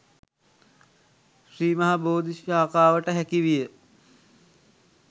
ශ්‍රී මහ බෝධි ශාඛාවට හැකි විය.